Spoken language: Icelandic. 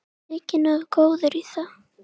Þyki nógu góður í það.